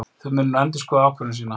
Þeir munu nú endurskoða ákvörðun sína